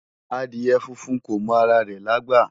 Adìẹ funfun kò mọ ara rẹ̀lágbà